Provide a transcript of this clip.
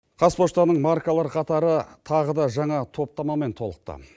қазпоштаның маркалар қатары тағы да жаңа топтамамен толықты